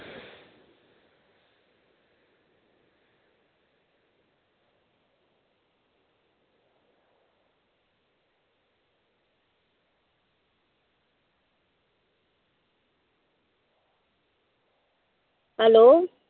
hello